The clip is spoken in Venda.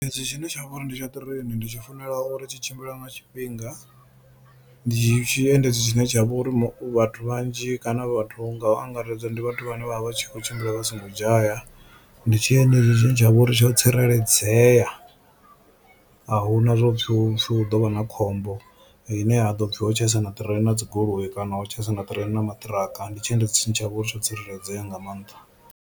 Ezwi zwine tsha vha uri ndi tsha ṱireini ndi tshi funela uri tshi tshimbila nga tshifhinga ndi tshi endedzi tshine tsha vha uri vhathu vhanzhi kana vhathu nga u angaredza ndi vhathu vhane vha vha vha tshi kho tshimbila vha songo dzhaya. Ndi tshiendedzi tshi tsha vha uri tsho tsireledzea a hu na zwo pfhi hu ḓo vha na khombo ine ya ḓo pfhi ho tshaisana ṱireini na dzi goloi kana ho tshaisana ṱireini na maṱiraka kana ndi tshiendedzi tshine tsha vha uri tsho tsireledzea nga maanḓa.